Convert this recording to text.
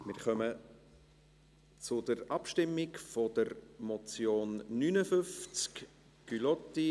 Wir kommen zur Abstimmung beim Traktandum 59, der Motion Gullotti: